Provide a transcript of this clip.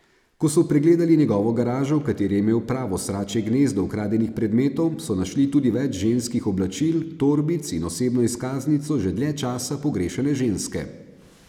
Ko so pregledali njegovo garažo, v kateri je imel pravo sračje gnezdo ukradenih predmetov, so našli tudi več ženskih oblačil, torbic in osebno izkaznico že dlje časa pogrešane ženske.